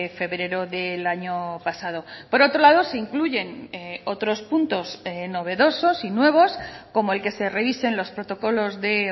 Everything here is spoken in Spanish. febrero del año pasado por otro lado se incluyen otros puntos novedosos y nuevos como el que se revisen los protocolos de